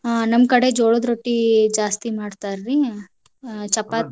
ಹಾ ನಮ್ಮ್ ಕಡೆ ಜೋಳದ್ ರೊಟ್ಟಿ ಜಾಸ್ತಿ ಮಾಡ್ತಾರ್ರೀ ಅಹ್ ಚಪಾತಿ,